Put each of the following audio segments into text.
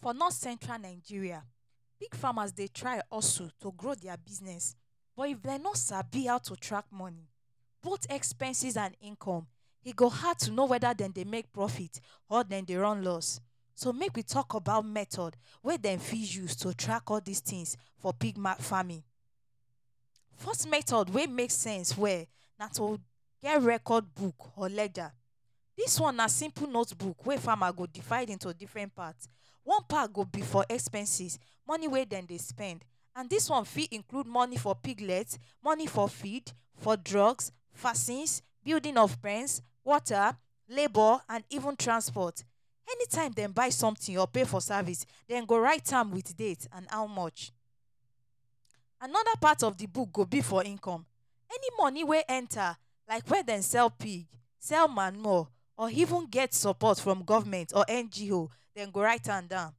For North Central Nigeria pig farmers dey try also to grow dia business but if dem no sabi how to track moni both expenses and income e go hard to know weda dem dey make profit or dem dey run loss. So make we tok about method wey dem fit use to track all dis tins for pig farming. First method wey make sense well na to get record book or ledger. Dis one na simple notebook wey farmer go divide into diffren part. One part go be for expenses moni wey dem dey spend and dis one fit include moni for piglet, moni for feed, for drugs, vaccines, building of pens, water, labour and even transport. Anytime dem buy somtin or pay for service, dem go write am wit date and how much. Anoda part of di book go be for income any moni wey enta like wia dem sell pig, sell manure or even get support from Government or NGO. Dem go write am down.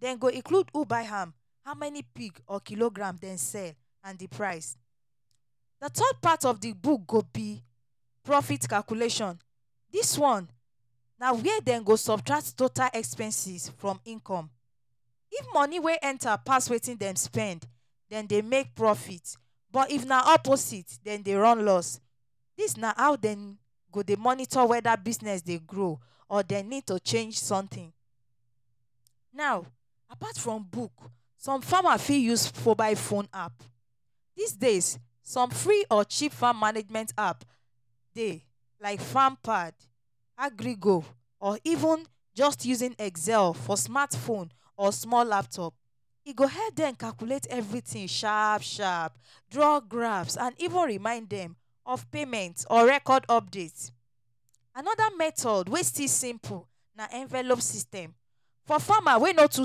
Dem go include who buy am, how many pig or kilogram dem sell and di price. Di third part of di book go be profit calculation. Dis one na wia dem go subtract total expenses from income. If moni wey enta pass wetin dem spend, dem dey make profit. But if na opposite, dem dey run loss. Dis na how dem go dey monitor weda business dey grow or dem need to change somtin. Now, apart from book, some farmer fit use mobile phone app. Dis days, some free or cheap farm management app dey like Farmpad, AgricGo or even just using Excel for smartphone or small laptop. E go help dem calculate everytin sharp sharp, draw graphs and even remind dem of payment or record updates. Anoda method wey still simple na envelope system. For farmer wey no too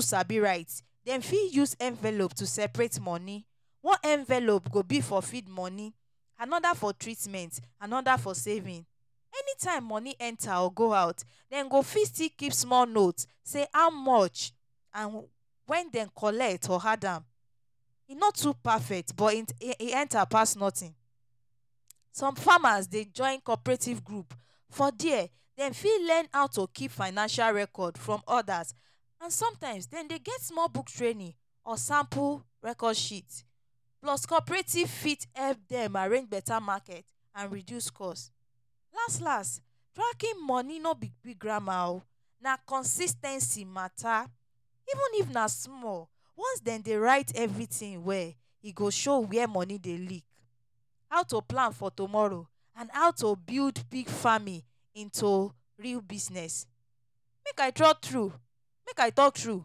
sabi write, dem fit use envelope to seperate moni. One envelope go be for feed moni, anoda for treatment, anoda for saving. Anytime moni enta or go out, dem go fit still keep small note say how much and wen dem collect or add am. E no too perfect but e enta pass notin. Some farmers dey join corperative group. For dia, dem fit learn how to keep financial record from others and somtime dem dey get small book training or sample record sheet. Plus, cooperative fit help dem arrange betta market and reduce cost. Last last, tracking moni no be big grammar oh. Na consis ten cy matter. Even if na small, once dem dey write everytin well, e go show wia moni dey leak, how to plan for tomorrow and how to build pig farming into real business. Make I drop true, make I tok true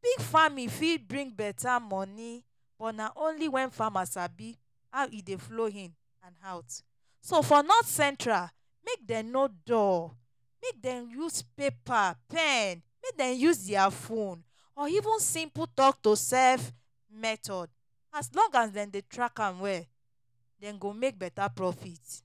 pig farming fit bring betta moni. But na only wen farmers sabi how e dey flow in and out. So for North Central, make dem no dull. Make dem use paper, pen, make dem use dia phone or even simple tok-to-sef method. As long as dem dey track am well, dem go make betta profit.